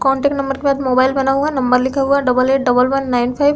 contact number के बाद mobile बना हुआ है नंबर लिखा हुआ है double eight double one nine five --